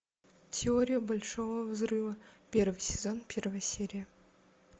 теория большого взрыва первый сезон первая серия